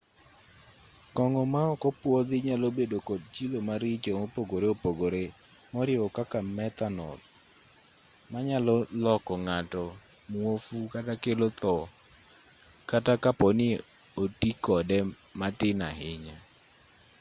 kong'o ma okopwodhi nyalobedo kod chilo maricho mopogore opogore moriwo nyaka methanol manyalo loko ng'ato muofu kata kelo tho kata kapo ni oti kode matin ahinya